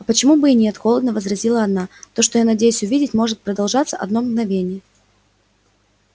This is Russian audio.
а почему бы и нет холодно возразила она то что я надеюсь увидеть может продолжаться одно мгновение